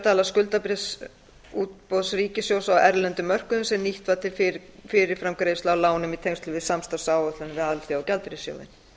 dala skuldabréfaútboði ríkissjóðs á erlendum mörkuðum sem nýtt var til fyrirframgreiðslu á lánum í tengslum við samstarfsáætlunina við alþjóðagjaldeyrissjóðinn